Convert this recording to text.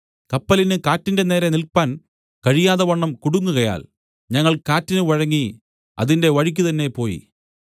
കപ്പലിന് കാറ്റിന്റെ നേരെ നില്പാൻ കഴിയാതവണ്ണം കുടുങ്ങുകയാൽ ഞങ്ങൾ കാറ്റിന് വഴങ്ങി അതിന്റെ വഴിക്കുതന്നെ പോയി